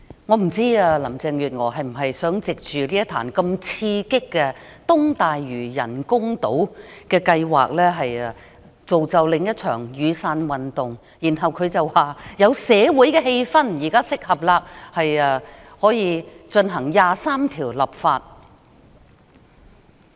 我不知道林鄭月娥是否想藉着東大嶼人工島計劃刺激市民，造就另一場雨傘運動，然後便可以說現時的社會氣氛適合為《基本法》第二十三條立法。